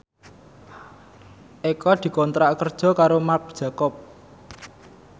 Eko dikontrak kerja karo Marc Jacob